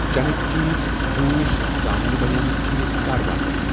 چٮ۪نٕکؠ چیٖز, جوٗس, ژامنہِ بَنیمٕتؠ چیٖز کَر واتن؟